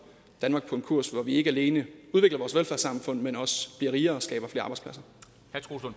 danmark på en kurs hvor vi ikke alene udvikler vores velfærdssamfund men også bliver rigere